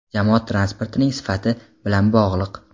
jamoat transportining sifati bilan bog‘liq.